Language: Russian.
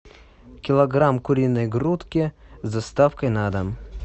килограмм куриной грудки с доставкой на дом